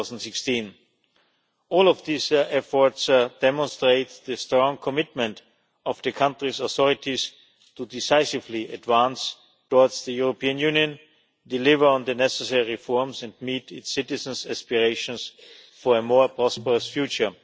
2016. All these efforts demonstrate the strong commitment of the country's authorities to decisively advance towards the European Union, deliver on the necessary reforms and meet its citizens' aspirations for a more prosperous future.